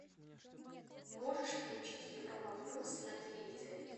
можешь включить европа плюс на телевизоре